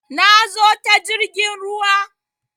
Na zo ta jirgin ruwa